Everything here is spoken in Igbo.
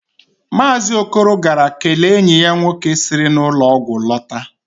Maazị Okoro gara kelee enyi ya nwoke siri n'ụlọ ọgwụ lọta